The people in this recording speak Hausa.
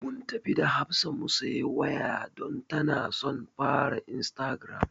Mun tafi da Hafsa mu siyi waya don tana son ta fara istagiram.